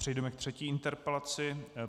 Přejdeme ke třetí interpelaci.